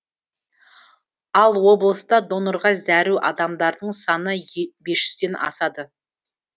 ал облыста донорға зәру адамдардың саны бес жүзден асады